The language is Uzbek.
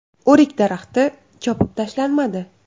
O‘rik daraxti chopib tashlanmadi.